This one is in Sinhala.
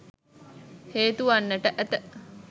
හේතුවන්නට ඇත.